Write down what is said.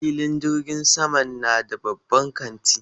Filin jirgin saman na da babban kanti.